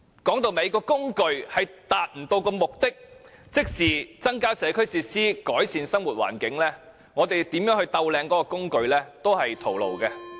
說到底，如果這工具不能達到目的，即增加社區設施、改善生活環境，無論我們如何完善它，結果都是徒勞。